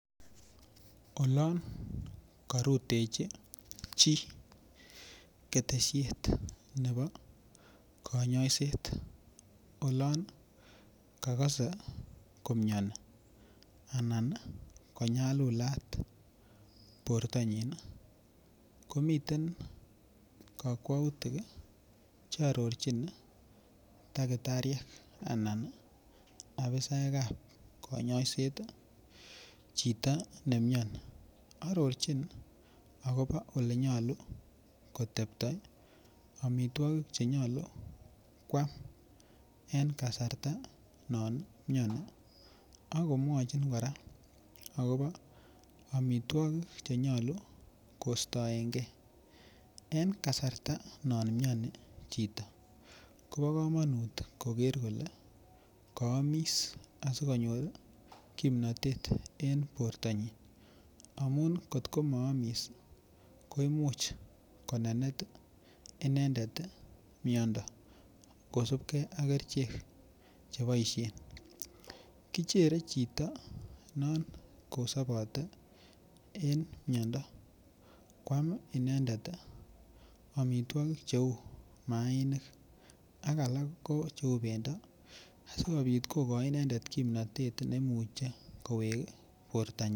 Olon korutechi chii ketesiet nepo konyoiset olon kakasei komioni anan konyalulat bortanyin ko miten kakwautik chearorchin dakitariek anan afisaek ap konyoiset chito neimioni arorchin akobo ole nyolu kotepto amitwokik chenyolu koam en kasarta non imioni ako mwochin kora akopo amitwokik chenyolu kostoengei eng kasarta no mioni chito Kobo komonut koker kole kaamis asikonyor kimnotet eng bortonyin amun kotko maamis koimuch konenet inendet miondo kosupkei ak kerchek cheboishe kichere chito non kosobote en miondo koam inendet omitwokik cheu maainik ak alak kou cheu bendo asikobit kokoch inendet kimnotet neimuche kowek bortanyin.